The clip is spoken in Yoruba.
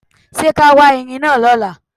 Ṣé ká wá Erin náà lọ́la?